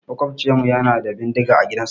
Maƙwabcinmu yana da bindiga a gidansa.